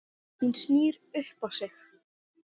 Hún snýr upp á sig.